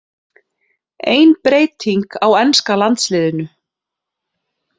Ein breyting á enska landsliðinu